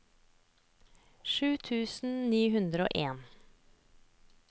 sju tusen ni hundre og en